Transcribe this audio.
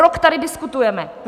Rok tady diskutujeme!